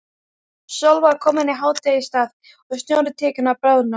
Sól var komin í hádegisstað og snjórinn tekinn að bráðna.